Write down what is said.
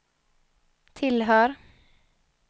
tillhör